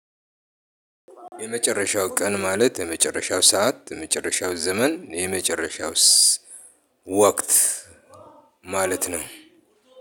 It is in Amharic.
የመጨረሻው ቀን ማለት የመጨረሻው ሰዓት የመጨረሻው ዘመን የመጨረሻውስ ወቅት? ማለት ነው።